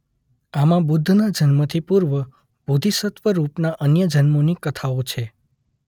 આમાં બુદ્ધ ના જન્મથી પૂર્વ બોધિસત્વ રૂપ ના અન્ય જન્મોની કથાઓ છે.